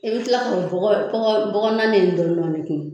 I bɛ kila k'o bɔgɔ bɔgɔ bɔgɔ